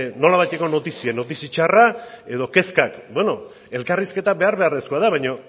nolabaiteko notizia notizia txarra edo kezkak bueno elkarrizketa behar beharrezkoa da baina